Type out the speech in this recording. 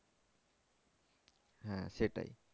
হ্যাঁ সেটাই